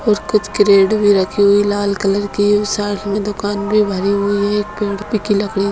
और कुछ क्रेट भी रखी हुई है लाल कलर की और साइड में दुकान भी भरी हुई हैएक पेड़ की लकड़ी--